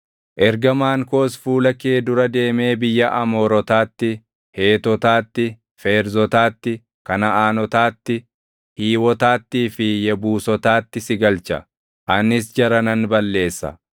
Ergamaan koos fuula kee dura deemee biyya Amoorotaatti, Heetotaatti, Feerzotaatti, Kanaʼaanotaatti, Hiiwotaattii fi Yebuusotaatti si galcha; anis jara nan balleessa.